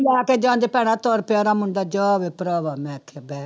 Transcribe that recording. ਲੈ ਕੇ ਜੰਞ ਭੈਣਾ ਤੁਰ ਪਿਆ ਉਹਦਾ ਮੁੰਡਾ ਜਾ ਵੇ ਭਰਾਵਾ ਮੈਂ ਆਖਿਆ ਬਹਿ,